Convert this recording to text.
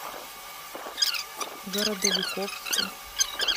городовиковску